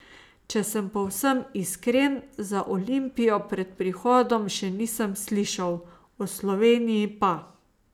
Če sem povsem iskren, za Olimpijo pred prihodom še nisem slišal, o Sloveniji pa.